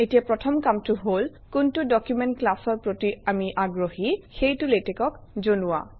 এতিয়া প্ৰথম কামটো হল কোনটো ডকুমেণ্ট ক্লাছৰ প্ৰতি আমি আগ্ৰহী সেইটো LaTeX অক জনোৱা